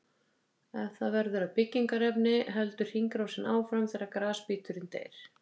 Ef það verður að byggingarefni heldur hringrásin áfram þegar grasbíturinn deyr.